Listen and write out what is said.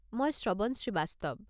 মই শ্ৰৱণ শ্ৰীৱাস্তৱ।